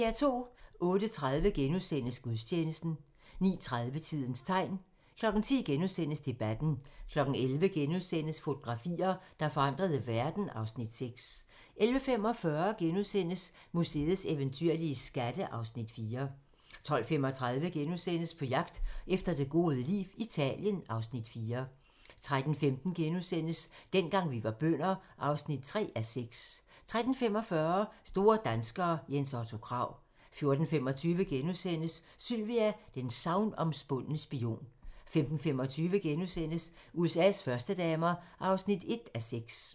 08:30: Gudstjeneste * 09:30: Tidens tegn 10:00: Debatten * 11:00: Fotografier, der forandrede verden (Afs. 6)* 11:45: Museets eventyrlige skatte (Afs. 4)* 12:35: På jagt efter det gode liv - Italien (Afs. 4)* 13:15: Dengang vi var bønder (3:6)* 13:45: Store danskere - Jens Otto Krag 14:25: Sylvia: den sagnomspundne spion * 15:25: USA's førstedamer (1:6)*